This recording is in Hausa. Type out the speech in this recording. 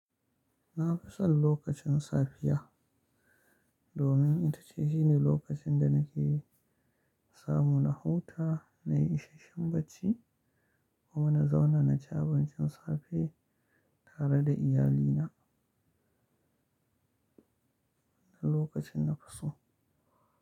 Na fi son lokacin safiya domin ita ce shine lokacin da nake samu na huta, na yi isasshen bacci kuma na zauna na ci abincin safe tare da iyalina. Na lokacin nafi so.